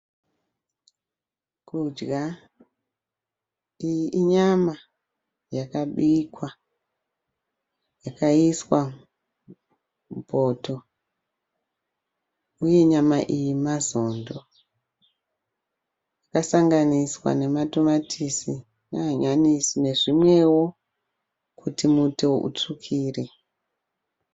kudya, iyi inyama yakabikwa yakaiswa mupoto uye nyama iyi mazondo yakasanganiswa nematomatisi,, nehanyanisi nezvimwewo kuti muto utsvukire.